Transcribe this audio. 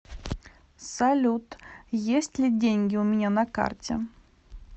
салют есть ли деньги у меня на карте